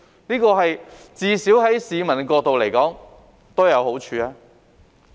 這至少對市民而言都有好處。